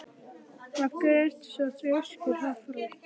Af hverju ertu svona þrjóskur, Hafrún?